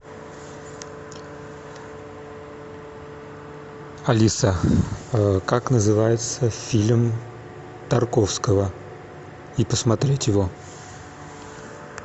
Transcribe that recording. алиса как называется фильм тарковского и посмотреть его